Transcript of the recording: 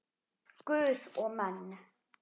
Guð og menn.